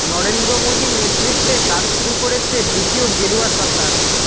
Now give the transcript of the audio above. নরেন্দ্র মোদীর নেতৃত্বে কাজ শুরু করেছে দ্বিতীয় গেরুয়া সরকার